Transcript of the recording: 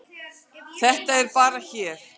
Þetta er bara hér.